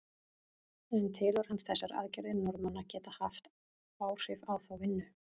En telur hann þessar aðgerðir Norðmanna geta haft áhrif á þá vinnu?